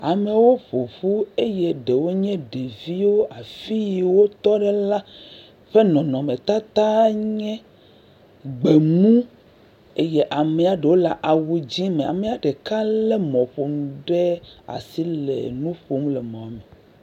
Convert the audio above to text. Amewo ƒo ƒu eye ɖewo nye ɖeviwo. Afi yi wotɔ ɖe la, ƒe nɔnɔmetata nye gbemu eye amea ɖewo le awu dzẽ me. Amea ɖeka lé mɔƒonu ɖe asi le nu ƒom le mɔme.